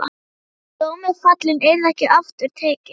Dómur fallinn, yrði ekki aftur tekinn.